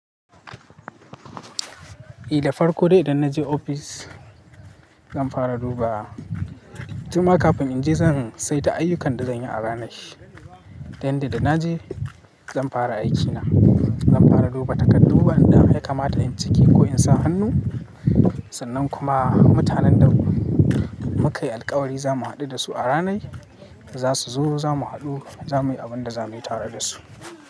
Idan farko dai idan na je ofis zan fara duba timma kafin in je zan sai ta ayyukan da zan yi a ranar. Dayanda na je zan fara aikina, zan fara duba takardu, anjima ya kamata in ciki ko in sa hannu. Sannan kuma mutanen da muka yi alƙawari za mu haɗu da su a ranar, za su zo za mu haɗu za mu yi abin da za mu yi tare da su.